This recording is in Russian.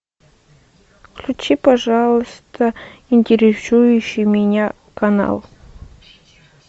включи пожалуйста интересующий меня канал